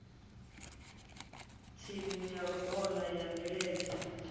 thimu ya bola ya milenzhe